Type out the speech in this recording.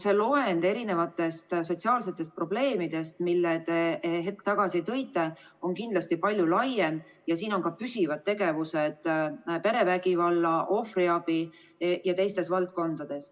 See loend sotsiaalsetest probleemidest, mille te hetk tagasi tõite, on kindlasti palju laiem, ja siin on ka püsivad tegevused perevägivalla, ohvriabi jms valdkonnas.